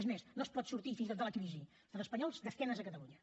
és més no es pot sortir fins i tot de la crisi a l’estat espanyol d’esquena a catalunya